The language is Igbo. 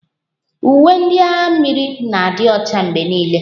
Uwe ndị agha mmiri na-adị Ọcha mgbe niile.